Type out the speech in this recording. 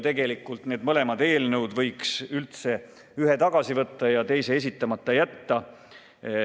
Tegelikult võiks ühe nendest eelnõudest üldse tagasi võtta ja teise esitamata jätta.